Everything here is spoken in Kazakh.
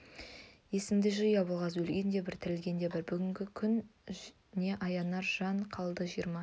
есінді жи абылғазы өлген де бір тірілген де бір бүгінгі күн не аянар жан қалды жиырма